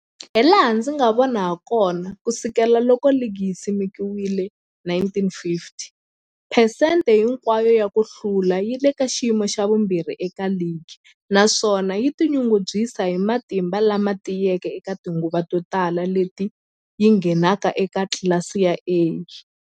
Hilaha ndzi nga vona hakona, ku sukela loko ligi yi simekiwile,1950, phesente hinkwayo ya ku hlula yi le ka xiyimo xa vumbirhi eka ligi, naswona yi tinyungubyisa hi matimba lama tiyeke eka tinguva to tala leti yi ngheneke eka tlilasi ya A.